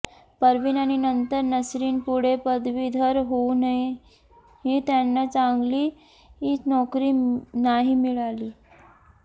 परवीन आणि नंतर नसरीन पुढे पदवीधर होऊनही त्यांना चांगली नोकरी नाही मिळाली